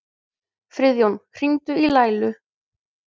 Friðjón, hringdu í Laílu.